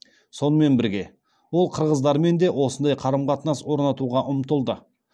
сонымен бірге ол қырғыздармен де осындай қарым қатынас орнатуға ұмтылды